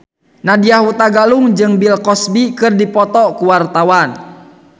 Nadya Hutagalung jeung Bill Cosby keur dipoto ku wartawan